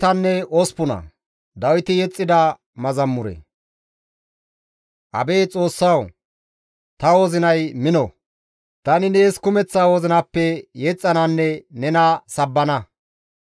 Abeet Xoossawu! Ta wozinay mino; tani nees kumeththa wozinappe yexxananne nena sabbana.